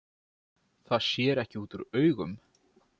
Það sér ekki út úr augum